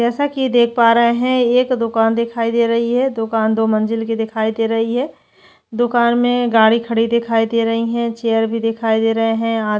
जैसा की देख पा रहे है एक दुकान दिखाई दे रही है दुकान दो मंजिल की दिखाई दे रही है दुकान मैं गाड़ी खड़ी दिखाई दे रही है चेयर भी दिखाई दे रहें है।